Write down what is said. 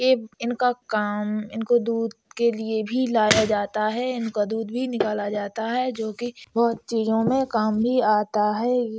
ये इनका काम इनको दूध के लिए भी लाया जाता है। इनका दूध भी निकाला जाता है जो कि बहोत चीजों में काम भी आता है।